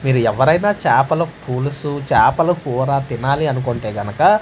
మీరు ఎవరైనా చాపల పులుసు చాపల కూర తినాలి అనుకుంటే గనక.